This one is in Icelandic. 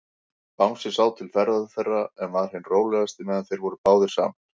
Bangsi sá til ferða þeirra, en var hinn rólegasti, meðan þeir voru báðir saman.